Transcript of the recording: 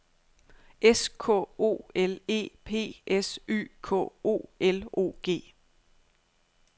S K O L E P S Y K O L O G